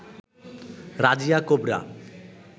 Razia cobra